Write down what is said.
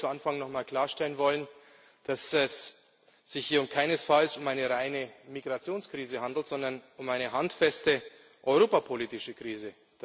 Ich möchte direkt zu Anfang nochmal klarstellen, dass es sich hier keinesfalls um eine reine Migrationskrise handelt, sondern um eine handfeste europapolitische Krise.